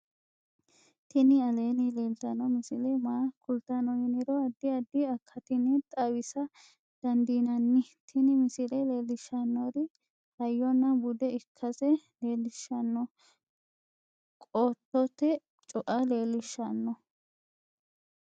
tini aleenni leeltanno misile maa kultanno yiniro addi addi akatinni xawisa dandiinnanni tin misile leellishshannori hayyonna bude ikkase leellishshanno qottote cua leellishshanno